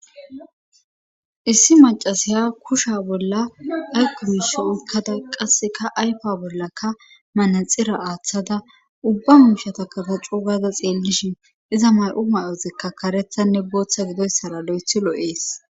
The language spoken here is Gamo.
issi macasiya kusha bolla aykubish ukkada qasseka aypa bollaka manaxira aaththada ubba mumshata katacu gaza xeellishin iza may7u mayozikka karethanne booththa gidoyssara lo7ethi lo7ees